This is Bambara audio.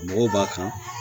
Mɔgɔw b'a kan